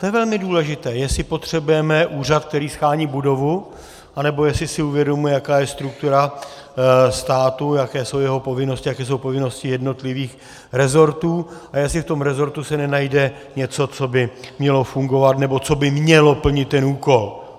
To je velmi důležité, jestli potřebujeme úřad, který shání budovu, anebo jestli si uvědomuji, jaká je struktura státu, jaké jsou jeho povinnosti, jaké jsou povinnosti jednotlivých resortů, a jestli v tom resortu se nenajde něco, co by mělo fungovat nebo co by mělo plnit ten úkol.